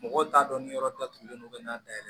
Mɔgɔw t'a dɔn ni yɔrɔ datugulen don ka n'a dayɛlɛ